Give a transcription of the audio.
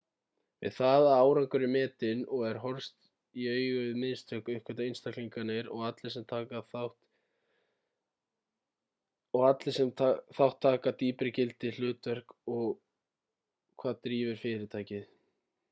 við það að árangur er metinn og er horfst í augu við mistök uppgötva einstaklingarnir og allir sem þátt taka dýpri gildi hlutverk og hvað drífur fyrirtækið